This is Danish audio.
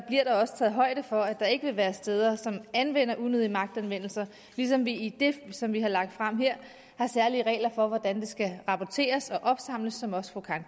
også taget højde for at der ikke vil være steder som anvender unødige magtanvendelser ligesom vi i det som vi har lagt frem her har særlige regler for hvordan det skal rapporteres og opsamles som også fru karen